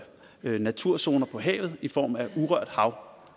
naturzoner på havet i form af urørt hav